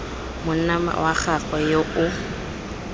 monna wa gagwe yo o